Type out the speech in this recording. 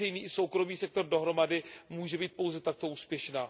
veřejný i soukromý sektor dohromady, může být pouze takto úspěšná.